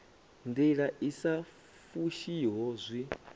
ndila i sa fushiho zwi